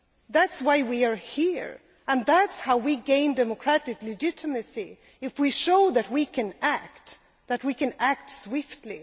That is why we are here and that is how we gain democratic legitimacy if we show that we can act and that we can act swiftly.